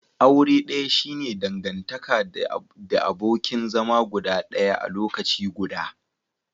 Aure daya shi ne dangantaka the abokin zama guda daya a lokaci guda.